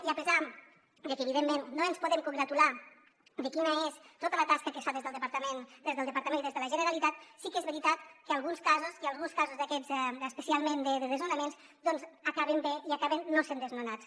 i a pesar de que evidentment no ens podem congratular de quina és tota la tasca que es fa des del departament i des de la generalitat sí que és veritat que alguns casos d’aquests especialment de desnonaments acaben bé i acaben no sent desnonats